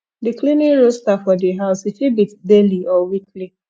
di cleaning roaster for di house e fit be daily or weekly